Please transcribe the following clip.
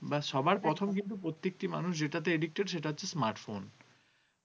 প্রথম কিন্তু প্রত্যেকটি মানুষ যেটাতে addicted সেটা হচ্ছে smartphone ।